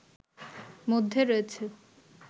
মধ্যে রয়েছে